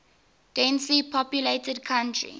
densely populated country